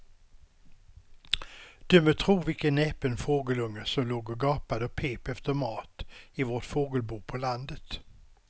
Du må tro vilken näpen fågelunge som låg och gapade och pep efter mat i vårt fågelbo på landet.